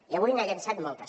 i avui n’ha llançat moltes